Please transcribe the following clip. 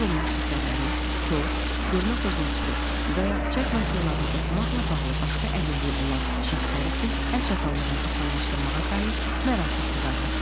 Dərc olunmuş əsərlərin, kor, görmə pozuntusu və ya çap məhsullarını oxumqla bağlı başqa əlilliyi olan şəxslər üçün əl çatanlığını asanlaşdırmağa dair Mərakeş müqaviləsi.